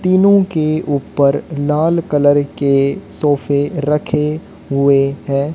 तीनों के ऊपर लाल कलर के सोफे रखे हुए हैं।